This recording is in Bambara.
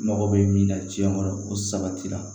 Mago bɛ min na tiɲɛ kɔrɔ o sabatira